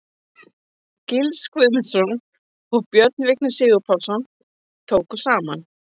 Gils Guðmundsson og Björn Vignir Sigurpálsson tóku saman.